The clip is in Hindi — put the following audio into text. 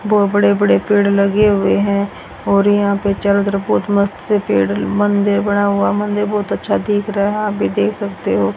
बहुत बड़े बड़े पेड़ लगे हुए हैं और यहां पे चारों तरफ बहुत मस्त से पेड़ मंदिर बना हुआ मंदिर बहुत अच्छा दिख रहा है आप देख सकते हो।